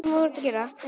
Um þetta leyti var